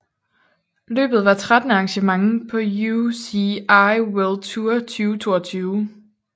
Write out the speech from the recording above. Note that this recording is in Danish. Løbet var trettende arrangement på UCI World Tour 2022